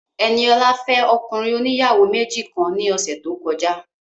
Ẹniọlá fẹ́ ọkùnrin oníyàwó méjì kan ní ọ̀sẹ̀ tó kọjá